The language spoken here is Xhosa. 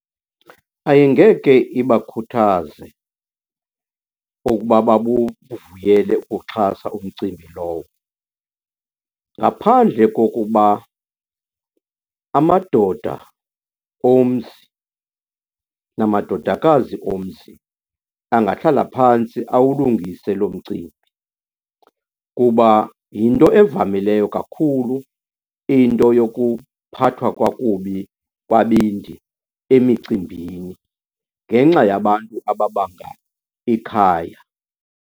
Ayingeke ibakhuthaze okoba babuvuyele ukuxhasa umcimbi lowo. Ngaphandle kokoba amadoda omzi namadodakazi omzi angahlala phantsi awulungise lo mcimbi kuba yinto evamileyo kakhulu into yokuphathwa kwakubi kwabendi emicimbini ngenxa yabantu ababanga ikhaya.